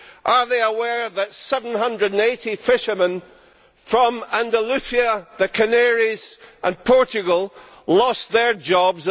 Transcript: Are they aware that 780 fishermen from Andalucía, the Canaries and Portugal lost their jobs?